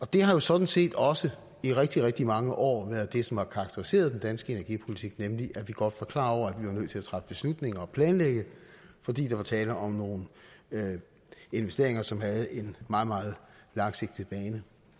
det har jo sådan set også i rigtig rigtig mange år været det som har karakteriseret den danske energipolitik nemlig at vi godt var klar over at vi var nødt til at træffe beslutninger og planlægge fordi der var tale om nogle investeringer som var meget meget langsigtede